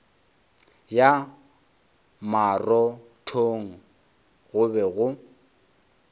ya marothong go be go